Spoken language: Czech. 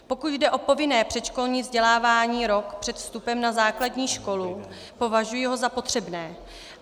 Pokud jde o povinné předškolní vzdělávání rok před vstupem na základní školu, považuji ho za potřebné.